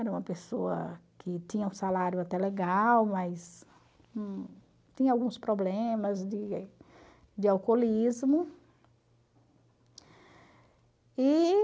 Era uma pessoa que tinha um salário até legal, mas tinha alguns problemas de de alcoolismo. E...